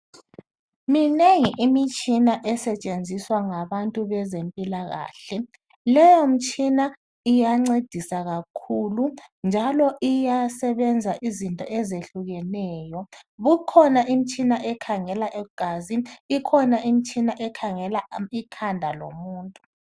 Minengi imitshina esetshenziswa ngabantu bezempilakahle. Leyo mtshina iyancedisa kakhulu njalo iyasebenza izinto ezehlukeneyo. Ikhona imtshina ekhangela igazi, ikhona imtshina ekhangela ikhanda lomuntu.